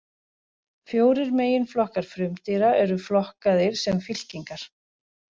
Fjórir meginflokkar frumdýra eru flokkaðir sem fylkingar.